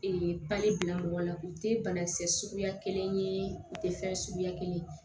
pali bila mɔgɔ la u tɛ banakisɛ suguya kelen ye u tɛ fɛn suguya kelen ye